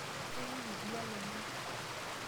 Kewony oldia lomon.